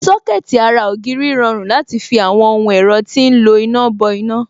Sọ́kẹ̀tì ara ògiri rọrùn láti fi àwọn ohun ẹ̀rọ tí ń lo iná bọ iná